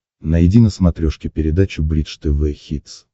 найди на смотрешке передачу бридж тв хитс